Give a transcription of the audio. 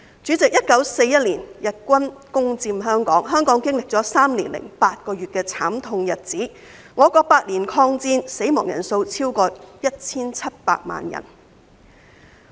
主席 ，1941 年日軍攻佔香港，香港經歷了3年8個月的慘痛日子，我國8年抗戰，死亡人數超過 1,700 萬人。